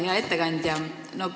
Hea ettekandja!